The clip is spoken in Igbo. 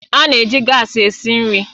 A na-eji gaasi esi nri